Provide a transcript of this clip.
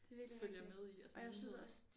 Følger med i af sådan nogle nyheder